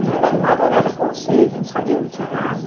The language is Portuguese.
Menina de madrugada com sede, não sabia, não tinha nada.